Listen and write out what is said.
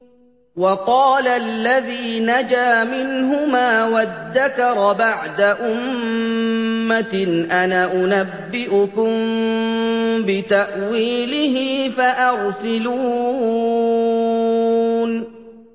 وَقَالَ الَّذِي نَجَا مِنْهُمَا وَادَّكَرَ بَعْدَ أُمَّةٍ أَنَا أُنَبِّئُكُم بِتَأْوِيلِهِ فَأَرْسِلُونِ